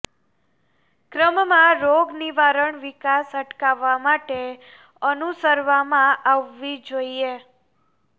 ક્રમમાં રોગ નિવારણ વિકાસ અટકાવવા માટે અનુસરવામાં આવવી જોઈએ